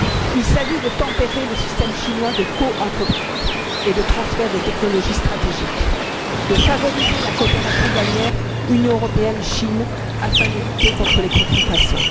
Il s'agit de tempérer le système chinois de coentreprise et de transfert de technologies stratégiques, de favoriser la coopération douanière Union européenne Chine afin de lutter contre les contrefaçons.